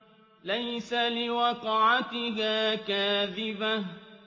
لَيْسَ لِوَقْعَتِهَا كَاذِبَةٌ